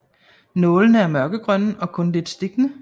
Nålene er mørkegrønne og kun lidt stikkende